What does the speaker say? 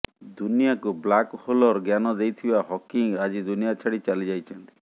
ଦୁନିଆକୁ ବ୍ଲାକ୍ ହୋଲର ଜ୍ଞାନ ଦେଇଥିବା ହକିଂ ଆଜି ଦୁନିଆ ଛାଡି ଚାଲି ଯାଇଛନ୍ତି